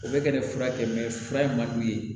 O bɛ ka nin fura kɛ fura in ma d'u ye